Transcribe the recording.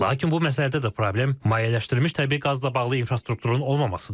Lakin bu məsələdə də problem mayeləşdirilmiş təbii qazla bağlı infrastrukturun olmamasıdır.